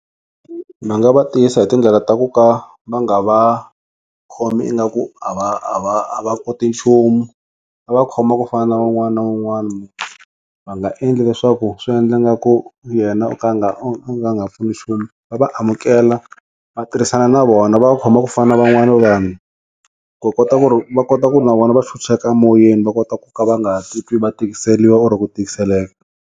Va nga va tiyisa hi tindlela ta ku ka va nga va khomi ingaku a va a va koti nchumu va va khoma ku fana na un'wana na un'wana va nga endli leswaku swi endla nga ku yena o ka a nga u nga pfuni nchumu va va amukela va tirhisana na vona va va khoma ku fana na van'wana vanhu ku kota ku ri va kota ku ri na vona va chucheka a moyeni va kota ku ka va nga titwi va tikiseliwa oro ku tikiseleka.